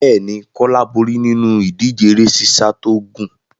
Bẹ́ẹ̀ ni, Kólá borí nínú ìdíje eré sísá tó gùn.